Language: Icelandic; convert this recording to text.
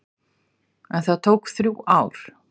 En það tók þrjú ár.